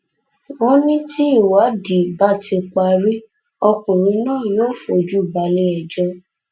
wọn ní tí ìwádìí bá ti parí ọkùnrin náà yóò fojú balẹẹjọ